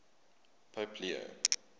pope leo